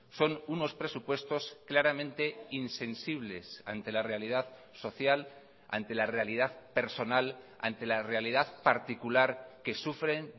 son unos presupuestos claramente insensibles ante la realidad social ante la realidad personal ante la realidad particular que sufren